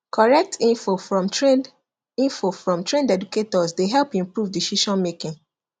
correct info from trained info from trained educators dey help improve decisionmaking